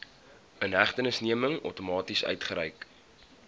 inhegtenisneming outomaties uitgereik